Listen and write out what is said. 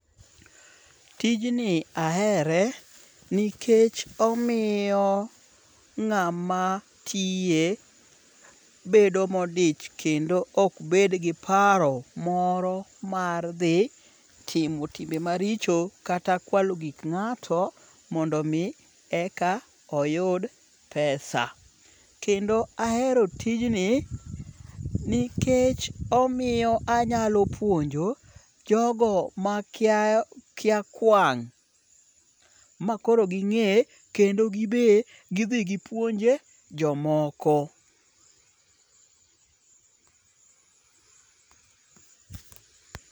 Tijni ahere nikech omiyo ng'ama tiye bedo modich kendo ok bed gi paro moro mar dhi timo timbe maricho kata kwalo gik ng'ato mondo mi eka oyud pesa. Kendo ahero tijni nikech omiyo anyalo puonjo jogo makia makia kwang' makoro ging'e kendo gibe gidhi gipuonje jomoko.